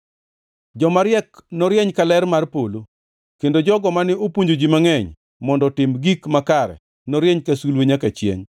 Joma riek norieny ka ler mar polo, kendo jogo mane opuonjo ji mangʼeny mondo otim gik makare norieny ka sulwe nyaka chiengʼ.